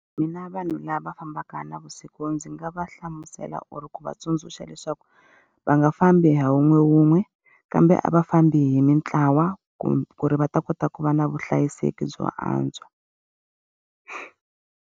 Mina vanhu lava fambaka navusiku ndzi nga va hlamusela or ku va tsundzuxa leswaku, va nga fambi hi wun'we wun'we, kambe a va fambi hi mintlawa ku ri va ta kota ku va na vuhlayiseki byo antswa.